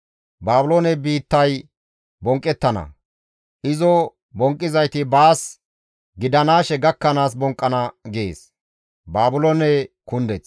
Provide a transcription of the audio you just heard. Baabiloone biittay bonqqettana; izo bonqqizayti baas gidanaashe gakkanaas bonqqana» gees.